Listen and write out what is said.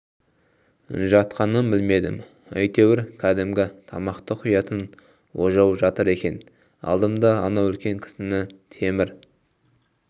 жатқанын білмедім йтеуір кдімгі тамақ құятын ожау жатыр екен алдым да анау үлкен кісіні темір